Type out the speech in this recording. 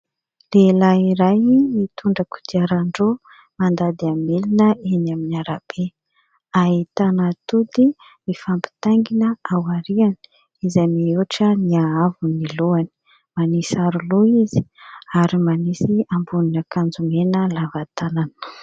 Lehilahy iray mitondra kodiaran-droa mandady amin'ny milina eny amin'ny ara-be ahitana atody mifampitaingina aoriana izay mihoatra ny ahavon'ny lohany, manisy aro loha izy ary manisy ambonin'akanjo mena lava tanana.